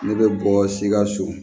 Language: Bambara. Ne bɛ bɔ sikaso